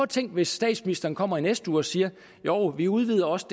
tænk hvis statsministeren kommer i næste uge og siger jo vi udvider også